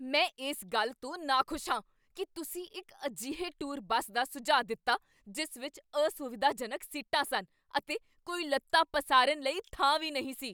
ਮੈਂ ਇਸ ਗੱਲ ਤੋਂ ਨਾਖੁਸ਼ ਹਾਂ ਕੀ ਤੁਸੀਂ ਇੱਕ ਅਜਿਹੇ ਟੂਰ ਬੱਸ ਦਾ ਸੁਝਾਅ ਦਿੱਤਾ ਜਿਸ ਵਿੱਚ ਅਸੁਵਿਧਾਜਨਕ ਸੀਟਾਂ ਸਨ ਅਤੇ ਕੋਈ ਲੱਤਾਂ ਪਸਾਰਨ ਲਈ ਥਾਂ ਵੀ ਨਹੀਂ ਸੀ।